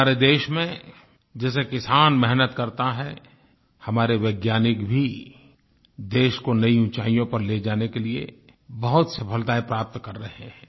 हमारे देश में जैसे किसान मेहनत करता है हमारे वैज्ञानिक भी देश को नई ऊंचाइयों पर ले जाने के लिए बहुत सफलताएँ प्राप्त कर रहे हैं